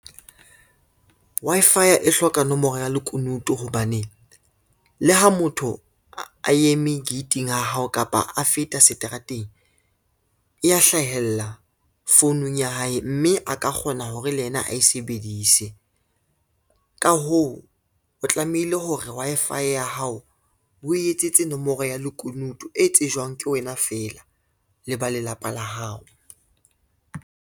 Wi-Fi ya e hloka nomoro ya lekunutu hobane, le ha motho a eme gate-ing ya hao kapa a feta seterateng, e ya hlahella founung ya hae, mme a ka kgona hore le yena a e sebedise. Ka hoo, o tlamehile hore Wi-Fi ya hao o etsetse nomoro ya lekunutu e tsejwang ke wena fela le ba lelapa la hao.